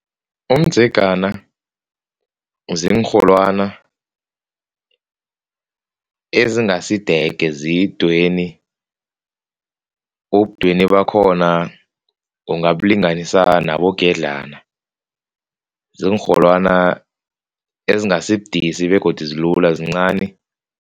Umdzegana ziinrholwani ezingasidege zidweni, ubudweni bakhona ungabulinganisa nabo ngendlana. Ziinrholwani ezingasibudisi begodu zilula, zincani.